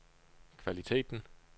kvaliteten